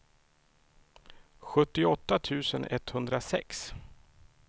sjuttioåtta tusen etthundrasex